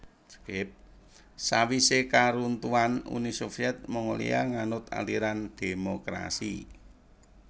Sawisé karuntuhan Uni Soviet Mongolia nganut aliran dhémokrasi